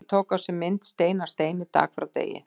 Virkið tók á sig mynd stein af steini, dag frá degi.